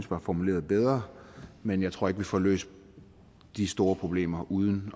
var formuleret bedre men jeg tror ikke at vi får løst de store problemer uden